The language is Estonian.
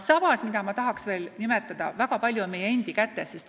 Samas tahan rõhutada: väga palju on meie endi kätes.